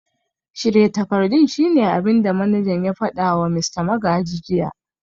Shirya takardun shine abin da manajan ya fada wa Mista Magaji jiya